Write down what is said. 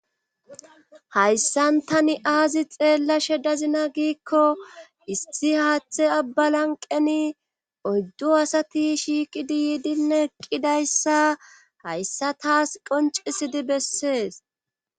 hayssan tani aazi xeellashe dazina giikko issi haaththe abba lanqeni oyddu asati shiiqidi yiidine eqqidayssa hayssa taas qoncisidi bessees